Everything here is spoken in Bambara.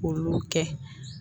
K'olu kɛ